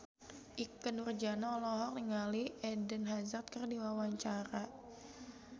Ikke Nurjanah olohok ningali Eden Hazard keur diwawancara